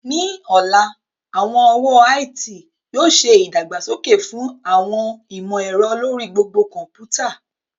Ní ọ̀la, àwọn ọ̀wọ́ IT yóò ṣe ìdàgbàsókè fún àwọn ìmọ̀ ẹ̀rọ lórí gbogbo kọ̀ḿpútà